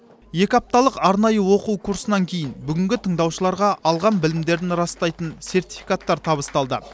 екі апталық арнайы оқу курсынан кейін бүгінгі тыңдаушыларға алған білімдерін растайтын сертификаттар табысталды